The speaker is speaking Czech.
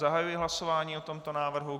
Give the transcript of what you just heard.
Zahajuji hlasování o tomto návrhu.